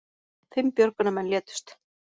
Fimm björgunarmenn létust